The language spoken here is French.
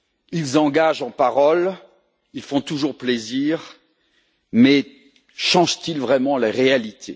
Ils engagent en paroles, ils font toujours plaisir, mais changent ils vraiment la réalité?